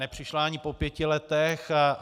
Nepřišla ani po pěti letech.